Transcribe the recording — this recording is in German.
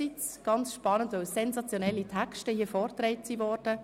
Es war spannend, weil sensationelle Texte vorgetragen wurden.